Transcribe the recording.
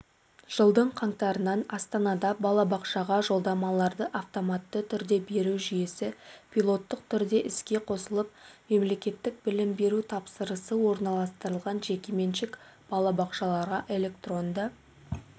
жылдың қаңтарынан астанада балабақшаға жолдамаларды автоматты түрде беру жүйесі пилоттық түрде іске қосылып мемлекеттік білім беру тапсырысы орналастырылған жекеменшік балабақшаларға электронды